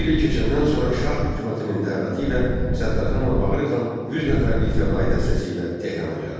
Bir il keçəndən sonra şah hökumətinin dəvəti ilə Səttarxan və Bağırxan 100 nəfərlik fədai dəstəsi ilə Tehrana gəldi.